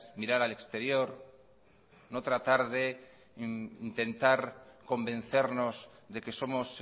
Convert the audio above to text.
mirar al exterior no tratar de intentar convencernos de que somos